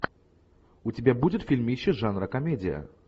у тебя будет фильмище жанра комедия